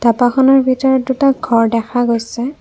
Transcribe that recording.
ধাবাখনৰ ভিতৰত দুটা ঘৰ দেখা গৈছে।